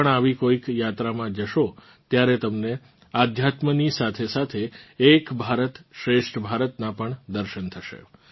તમે પણ આવી કોઇક યાત્રામાં જશો ત્યારે તમને આધ્યાત્મની સાથેસાથે એક ભારતશ્રેષ્ઠ ભારતનાં પણ દર્શન થશે